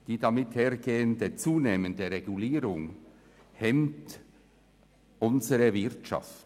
Die damit einhergehende zunehmende Regulierung hemmt unsere Wirtschaft.